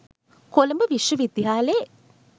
කොළඹ විශ්ව විද්‍යලෙ